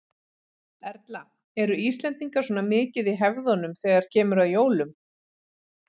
Erla: Eru Íslendingar svona mikið í hefðunum þegar kemur að jólum?